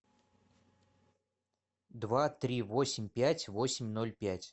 два три восемь пять восемь ноль пять